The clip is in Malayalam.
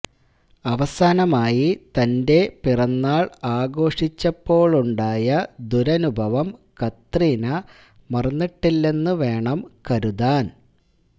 അവസാനമായി തന്റെ പിറന്നാള് ആഘോഷിച്ചപ്പോളുണ്ടായ ദുരനുഭവം കത്രീന മറന്നിട്ടില്ലെന്നു വേണം കരുതാന്